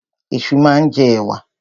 Ẹ̀ṣu máa ń jẹ ẹ̀wà.